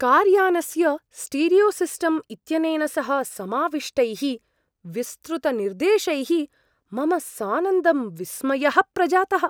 Car यानस्य स्टीरियोसिस्टम् इत्यनेन सह समाविष्टैः विस्तृतनिर्देशैः मम सानन्दं विस्मयः प्रजातः।